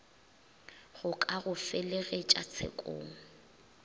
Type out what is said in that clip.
go ka go felegetša tshekong